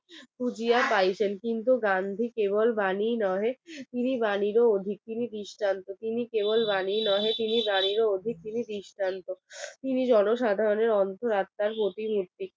তিনি বাণীরও অধিক তিনি দৃষ্টান্ত তিনি কেবল বাণী নহে তিনি বাণীরও অধিক তিনি জনসাধারণের অন্তর আত্মা পথিনীতিক